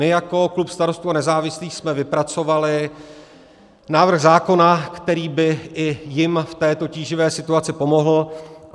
My jako klub Starostů a nezávislých jsme vypracovali návrh zákona, který by i jim v této tíživé situaci pomohl.